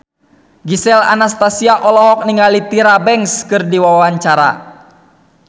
Gisel Anastasia olohok ningali Tyra Banks keur diwawancara